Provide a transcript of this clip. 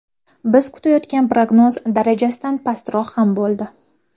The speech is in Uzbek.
Biz kutayotgan prognoz darajasidan pastroq ham bo‘ldi.